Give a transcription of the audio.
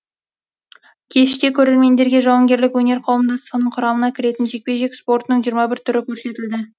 кеште көрермендерге жауынгерлік өнер қауымдастығының құрамына кіретін жекпе жек спортының жиырма бір түрі көрсетілді